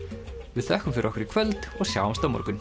við þökkum fyrir okkur í kvöld og sjáumst á morgun